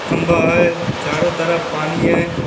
खम्भा है चारों तरफ पानी है।